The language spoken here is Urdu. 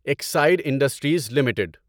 oxide Industries limited